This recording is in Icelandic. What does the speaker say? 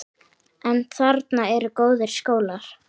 En þarna eru góðir skólar.